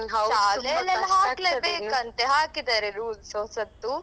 ಶಾಲೆಯಲ್ಲಿಯೆಲ್ಲಾ ಹಾಕ್ಲೇಬೇಕಂತೆ ಹಾಕಿದ್ದಾರೆ rules ಹೊಸತ್ತು.